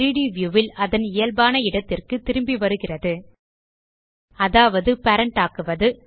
3ட் வியூ ல் அதன் இயல்பான இடத்திற்கு திரும்பி வருகிறது அதாவது பேரண்ட் ஆக்குவது